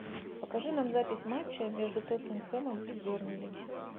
покажи нам запись матча между тоттенхэмом и бернли